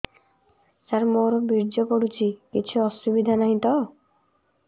ସାର ମୋର ବୀର୍ଯ୍ୟ ପଡୁଛି କିଛି ଅସୁବିଧା ନାହିଁ ତ